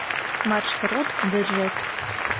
маршрут джет